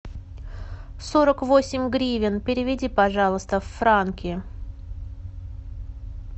сорок восемь гривен переведи пожалуйста в франки